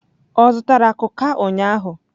O zutara kuká ụnyaahụ?